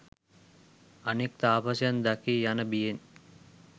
අනෙක් තාපසයන් දකී යන බියෙන්